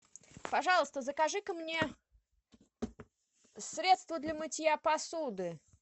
пожалуйста закажи ка мне средство для мытья посуды